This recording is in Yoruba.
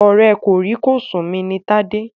Ọ̀rẹ́ kòrí-kòsùn mi Tádé.